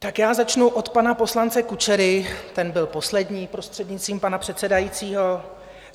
Tak já začnu od pana poslance Kučery, ten byl poslední, prostřednictvím pana předsedajícího.